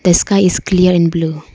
The sky is clear and blue.